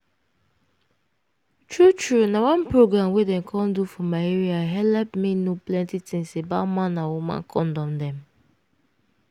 true true na one program wey dem come do for my area helep me know plenty things about man with woman kondom dem.